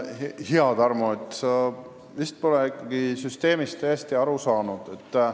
Hea Tarmo, sa vist pole süsteemist hästi aru saanud.